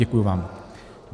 Děkuji vám.